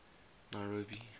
nairobi